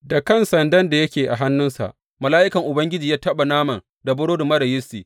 Da kan sandan da yake a hannunsa, mala’ikan Ubangiji ya taɓa naman da burodi marar yistin.